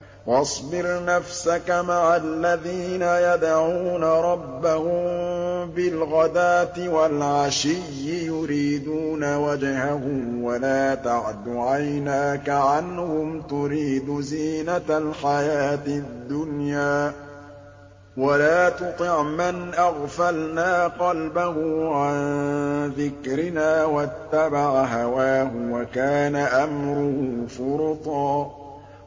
وَاصْبِرْ نَفْسَكَ مَعَ الَّذِينَ يَدْعُونَ رَبَّهُم بِالْغَدَاةِ وَالْعَشِيِّ يُرِيدُونَ وَجْهَهُ ۖ وَلَا تَعْدُ عَيْنَاكَ عَنْهُمْ تُرِيدُ زِينَةَ الْحَيَاةِ الدُّنْيَا ۖ وَلَا تُطِعْ مَنْ أَغْفَلْنَا قَلْبَهُ عَن ذِكْرِنَا وَاتَّبَعَ هَوَاهُ وَكَانَ أَمْرُهُ فُرُطًا